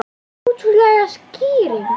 Ótrúleg skýring